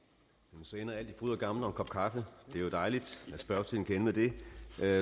så ender alt i fryd og gammen og en kop kaffe det er jo dejligt at spørgetiden kan ende med det